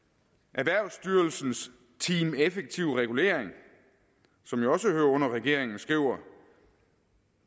erhvervsstyrelsens team effektiv regulering som jo også hører under regeringen skriver